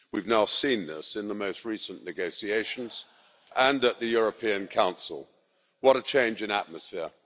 We've now seen this in the most recent negotiations and at the European Council. What a change in atmosphere.